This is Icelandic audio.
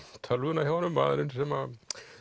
tölvuna hjá honum maðurinn sem